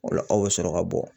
O la aw bɛ sɔrɔ ka bɔ.